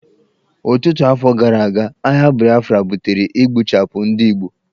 Ọtụtụ afọ gara aga, agha Biafra butere igbuchapụ ndị Igbo.